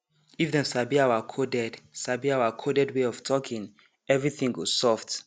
if dem sabi our coded sabi our coded way of talking everything go soft